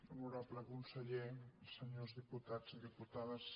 honorable conseller senyors diputats i diputades